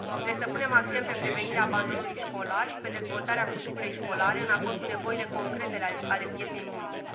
Trebuie să punem accent pe prevenirea abandonului școlar și pe dezvoltarea curriculei școlare, în acord cu nevoile concrete ale pieței muncii.